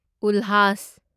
ꯎꯜꯍꯥꯁ